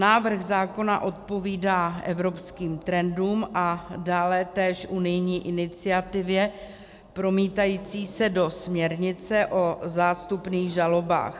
Návrh zákona odpovídá evropským trendům a dále též unijní iniciativě promítající se do směrnice o zástupných žalobách.